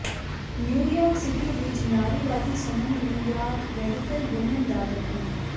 New York City ਵਿਚ ਨਾਰੀਵਾਦੀ ਸਮੂਹ ਨਿਊਯਾਰਕ ਰੈਡੀਕਲ ਵੂਮੈਨ ਦਾ ਗਠਨ